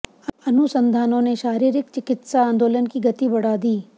अनुसंधानों ने शारीरिक चिकित्सा आंदोलन की गति बढ़ा दी